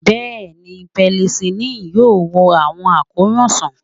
Bẹẹni, penicillin yoo wo awọn akoran sàn.